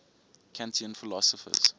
kantian philosophers